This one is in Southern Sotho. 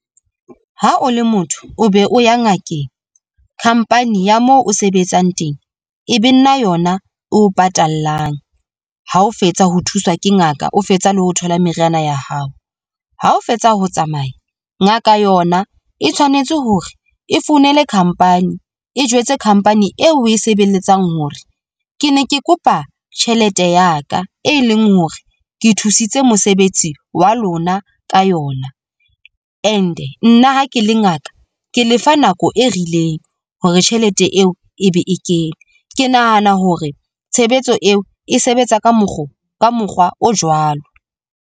Ha o le motho o be o ya ngakeng, khampani ya mo o sebetsang teng e be nna yona e o patallang ha o fetsa ho thuswa ke ngaka, o fetsa le ho thola meriana ya hao, ha o fetsa ho tsamaya. Ngaka yona e tshwanetse hore e founele khampani e jwetse khampani eo, oe sebeletsang hore ke ne ke kopa tjhelete ya ka e leng hore ke thusitse mosebetsi wa lona ka yona. And nna ha ke le ngaka, ke le fa nako e rileng hore tjhelete eo e be e kene. Ke nahana hore tshebetso eo e sebetsa ka mokgwa o jwalo.